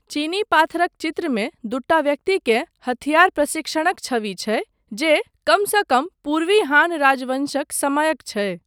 चीनी पाथरक चित्रमे दूटा व्यक्तिकेँ हथियार प्रशिक्षणक छवि छै जे कमसँ कम पूर्वी हान राजवँशक समयक छै।